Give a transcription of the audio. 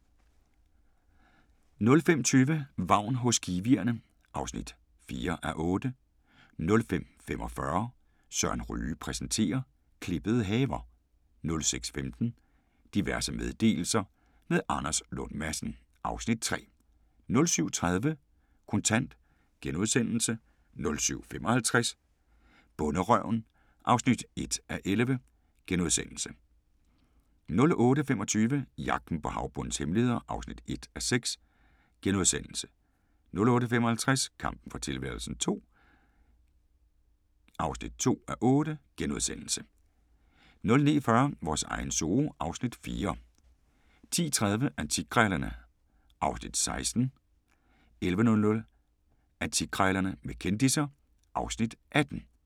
05:20: Vagn hos kiwierne (4:8) 05:45: Søren Ryge præsenterer - klippede haver 06:15: Diverse meddelelser – med Anders Lund Madsen (Afs. 3) 07:30: Kontant * 07:55: Bonderøven (1:11)* 08:25: Jagten på havbundens hemmeligheder (1:6)* 08:55: Kampen for tilværelsen II (2:8)* 09:40: Vores egen zoo (Afs. 4) 10:30: Antikkrejlerne (Afs. 16) 11:00: Antikkrejlerne med kendisser (Afs. 18)